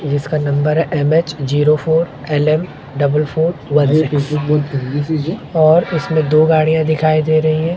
जिसका नंबर है M H zero four L M double four और इसमें दो गाड़ियां दिखाई दे रही हैं।